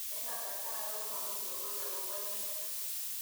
Eng' kasarta age ko mami lokoi akopo inet